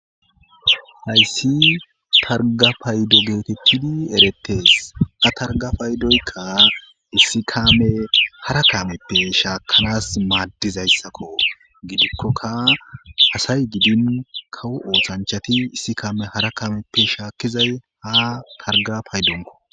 hayssi targa paydo geetettidi erettes a targa paydoykka issi kaame hara kameppe shaakkanas maaddizayssakko gidikkoka asay gidin kawovoothanchati issi kaame hara kaameppe shaakkizay ha targa paydonko